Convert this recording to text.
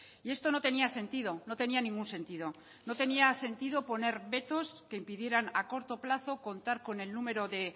y esto no tenía sentido no tenía ningún sentido no tenía sentido poner vetos que impidieran a corto plazo contar con el número de